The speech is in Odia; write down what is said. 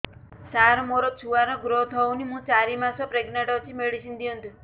ସାର ମୋର ଛୁଆ ର ଗ୍ରୋଥ ହଉନି ମୁ ଚାରି ମାସ ପ୍ରେଗନାଂଟ ଅଛି ମେଡିସିନ ଦିଅନ୍ତୁ